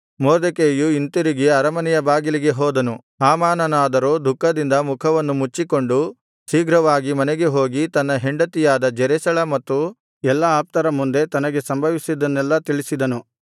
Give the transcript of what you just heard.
ಮೊರ್ದೆಕೈಯು ಹಿಂತಿರುಗಿ ಅರಮನೆಯ ಬಾಗಿಲಿಗೆ ಹೋದನು ಹಾಮಾನನಾದರೋ ದುಃಖದಿಂದ ಮುಖವನ್ನು ಮುಚ್ಚಿಕೊಂಡು ಶೀಘ್ರವಾಗಿ ಮನೆಗೆ ಹೋಗಿ ತನ್ನ ಹೆಂಡತಿಯಾದ ಜೆರೆಷಳ ಮತ್ತು ಎಲ್ಲಾ ಆಪ್ತರ ಮುಂದೆ ತನಗೆ ಸಂಭವಿಸಿದ್ದನ್ನೆಲ್ಲಾ ತಿಳಿಸಿದನು